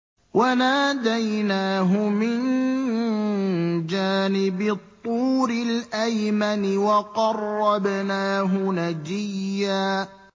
وَنَادَيْنَاهُ مِن جَانِبِ الطُّورِ الْأَيْمَنِ وَقَرَّبْنَاهُ نَجِيًّا